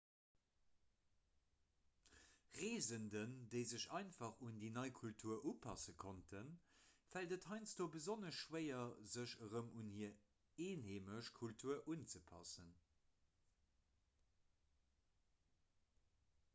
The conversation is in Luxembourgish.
reesenden déi sech einfach un déi nei kultur upasse konnten fält et heiansdo besonnesch schwéier sech erëm un hir einheimesch kultur unzepassen